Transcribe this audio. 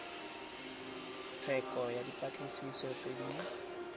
tsheko ya dipatlisiso tse di